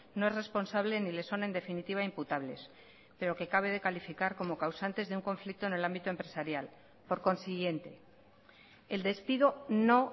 no es responsable ni le son en definitiva imputables pero que cabe de calificar como causantes de un conflicto en el ámbito empresarial por consiguiente el despido no